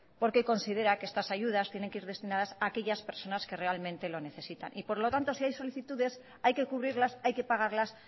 porque considera que estas ayudas tienen que ir destinadas a aquellas personas que realmente lo necesitan y por lo tanto si hay solicitudes hay que cubrirlas hay que pagarlas